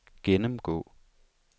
gennemgå